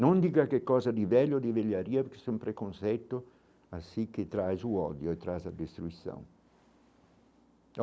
Não diga que coisa de velho ou de velharia, porque isso é um preconceito, assim que traz o ódio e traz a destruição.